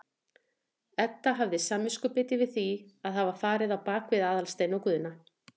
Edda hafði samviskubit yfir því að hafa farið á bak við Aðalstein og Guðna.